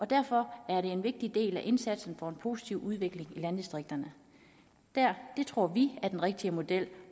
derfor en vigtig del af indsatsen for en positiv udvikling i landdistrikterne det tror vi er den rigtige model